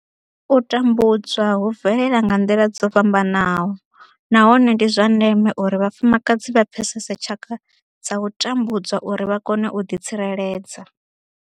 U tambudzwa hu bvelela nga nḓila dzo fhambanaho nahone ndi zwa ndeme uri vhafumakadzi vha pfesese tshaka dza u tambudzwa uri vha kone u ḓitsireledza.